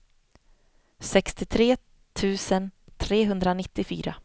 sextiotre tusen trehundranittiofyra